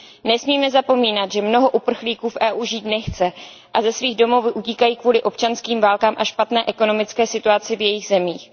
Nesmíme zapomínat, že mnoho uprchlíků v Evropské unii žít nechce a ze svých domovů utíkají kvůli občanským válkám a špatné ekonomické situaci v jejich zemích.